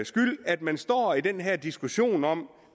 skyld at man står i den her diskussion om